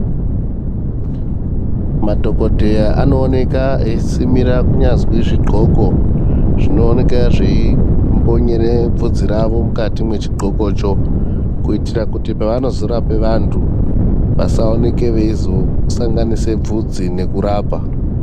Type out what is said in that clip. Madhokoteya anooneka aisimira kunyazi zvidhloko zvinooneka zvaimbonyera bvudzi ravo mukati mechidhlokocho kuitira kuti pavanozorape vantu vasaoneke vaizosanganise bvudzi nekurapa.